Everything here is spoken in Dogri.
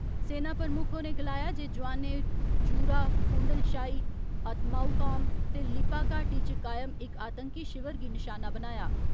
सेना प्रमुक्ख होरें गलाया जे जोआनें जूरा, कूंडलशाही, अतमाउकाम ते लिपा घाटी च कायम इक आतंकी शिवर गी निशाना बनाया।